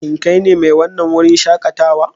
Shin kai ne mai wannan wurin shakatawa?